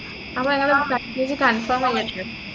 അപ്പൊ ഞങ്ങള് package confirm ചെയ്യട്ടെ